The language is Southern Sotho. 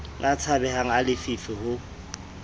a tshabehang a lefifi ho